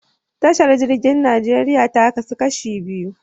Tashar jirgin Najeriya ta kasu kashi biyu.